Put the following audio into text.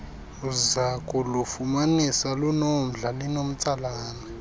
uzakulufumanisa lunomdla linomtsalane